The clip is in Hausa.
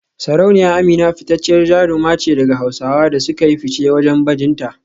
Sarauniya Amina fitacciyar jaruma ce daga Hausawa da suka yi fice wajen bajinta